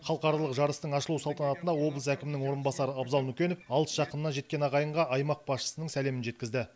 халықаралық жарыстың ашылу салтанатында облыс әкімінің орынбасары абзал нүкенов алыс жақыннан жеткен ағайынға аймақ басшысының сәлемін жеткізді